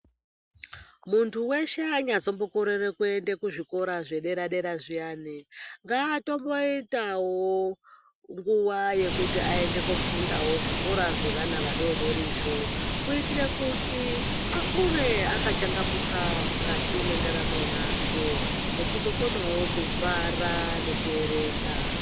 Muntu weshe azonyambokorera kuenda kuzvikora zvedera -dera zviyani ngaatomboitawo nguwa yekuti aende kofundawo zvikora zvevana vadodorizvo kuitire kuti akure akachangamuka mukati mwendaramo yake nekuzokonawo kubhara nekuerenga.